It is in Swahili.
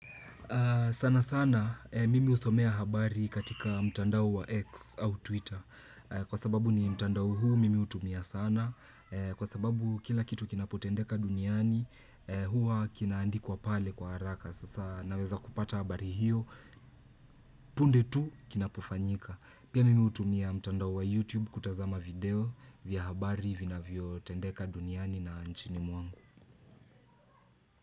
Sana sana mimi husomea habari katika mtandao wa X au Twitter. Kwa sababu ni mtandau huu mimi utumia sana. Kwa sababu kila kitu kinapotendeka duniani, huwa kinaandikwa pale kwa haraka. Sasa naweza kupata habari hiyo, punde tu kinapufanyika. Pia nimi hutumia mtandao wa YouTube kutazama video vya habari vinavyo tendeka duniani na nchini mwangu.